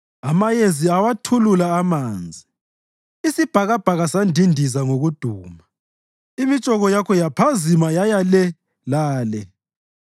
Amayezi awathulula amanzi, isibhakabhaka sandindiza ngokuduma; imitshoko yakho yaphazima yaya le lale.